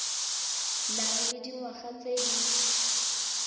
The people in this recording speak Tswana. nang le dingwaga tse di